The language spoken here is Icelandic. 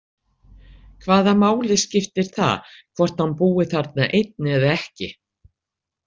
Hvaða máli skiptir það hvort hann búi þarna einn eða ekki?